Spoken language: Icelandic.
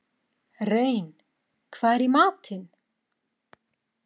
Rein, hvað er í matinn?